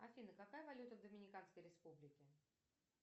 афина какая валюта в доминиканской республике